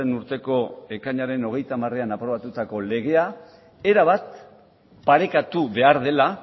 urteko ekainaren hogeita hamarean aprobatutako legea erabat parekatu behar dela